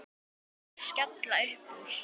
Þeir skella upp úr.